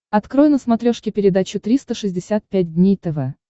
открой на смотрешке передачу триста шестьдесят пять дней тв